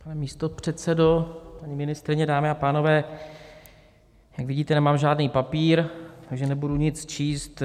Pane místopředsedo, paní ministryně, dámy a pánové, jak vidíte, nemám žádný papír, takže nebudu nic číst.